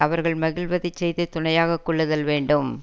அவர்கள் மகிழ்வதை செய்து துணையாக கொள்ளுதல் வேண்டும்